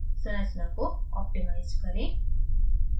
संरचना को optimize करें